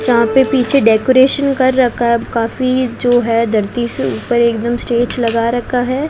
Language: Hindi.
जहां पे पीछे डेकोरेशन कर रखा है काफी जो है धरती से ऊपर एकदम स्टेज लगा रखा है।